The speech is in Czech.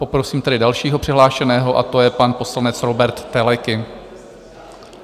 Poprosím tedy dalšího přihlášeného a to je pan poslanec Róbert Teleky.